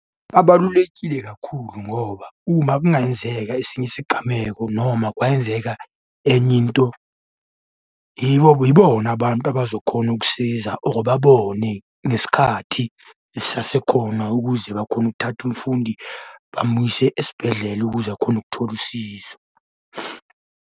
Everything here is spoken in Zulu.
Abalulekile kakhulu ngoba uma kungayenzeka esinye isigameko noma kwayenzeka enye into, yibo yibona abantu abazokhona ukusiza or babone ngesikhathi sisasekhona ukuze bakhone ukuthatha umfundi bamuyise esibhedlela ukuze akhone ukuthola usizo.